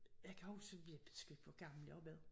Jeg kan huske jeg ved sgu ikke hvor gammel jeg har været